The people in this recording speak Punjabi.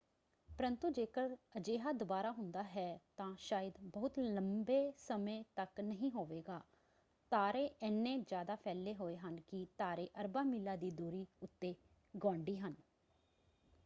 ਪਰੰਤੂ ਜੇਕਰ ਅਜਿਹਾ ਦੁਬਾਰਾ ਹੁੰਦਾ ਹੈ ਤਾਂ ਸ਼ਾਇਦ ਬਹੁਤ ਲੰਬੇ ਸਮੇਂ ਤੱਕ ਨਹੀਂ ਹੋਵੇਗਾ। ਤਾਰੇ ਏਨ੍ਹੇ ਜ਼ਿਆਦਾ ਫੈਲੇ ਹੋਏ ਹਨ ਕਿ ਤਾਰੇ ਅਰਬਾਂ ਮੀਲਾਂ ਦੀ ਦੂਰੀ ਉੱਤੇ ਗੁਆਂਢੀ ਹਨ।